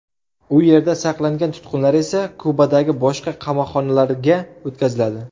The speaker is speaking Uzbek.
U yerda saqlangan tutqunlar esa Kubadagi boshqa qamoqxonalarga o‘tkaziladi.